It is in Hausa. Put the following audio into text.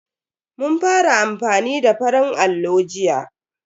Mun fara amfani da farin allo jiya.